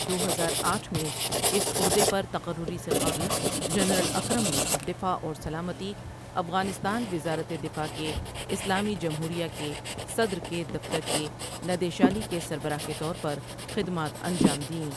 دو ہزار آٹھ میں اس عہدے پر تقرری سے قبل جنرل اکرم نے دفاع اور سلامتی، افغانستان وزارت دفاع کے اسلامی جمہوریہ کے صدر کے دفتر کے ندیشالی کے سربراہ کے طور پر خدمات انجام دیں ۔